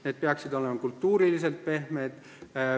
Need peaksid olema kultuuriliselt pehmed.